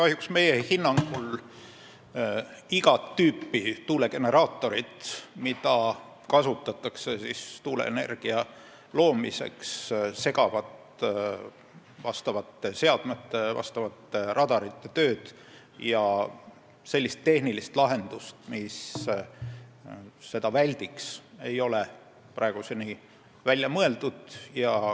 Kahjuks meie hinnangul segavad igat tüüpi tuulegeneraatorid, mida kasutatakse tuuleenergia loomiseks, vastavate seadmete, radarite tööd ja sellist tehnilist lahendust, mis seda väldiks, ei ole praeguseni välja mõeldud.